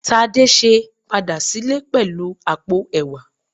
Tadese padà sílè pẹlu àpò ẹ̀wà